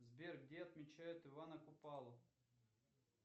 сбер где отмечают ивана купалу